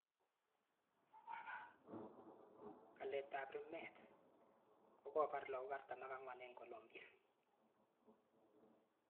Palet ap rmeet kokopaf lagok 44 e ng Colombia